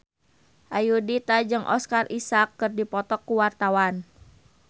Ayudhita jeung Oscar Isaac keur dipoto ku wartawan